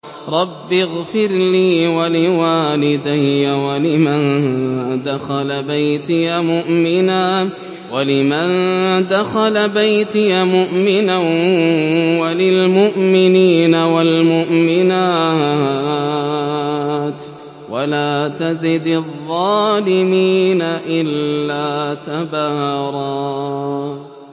رَّبِّ اغْفِرْ لِي وَلِوَالِدَيَّ وَلِمَن دَخَلَ بَيْتِيَ مُؤْمِنًا وَلِلْمُؤْمِنِينَ وَالْمُؤْمِنَاتِ وَلَا تَزِدِ الظَّالِمِينَ إِلَّا تَبَارًا